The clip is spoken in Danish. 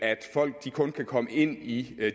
folk kun kan komme ind i